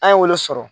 An ye olu sɔrɔ